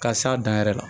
Ka s'a dan yɛrɛ la